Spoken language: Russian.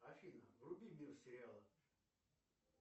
афина вруби мир сериалов